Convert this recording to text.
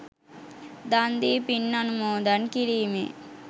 දන් දී පින් අනුමෝදන් කිරීමේ